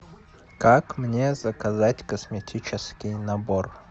как мне заказать косметический набор